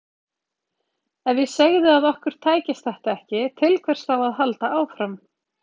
Ef ég segði að okkur tækist þetta ekki, til hvers þá að halda áfram?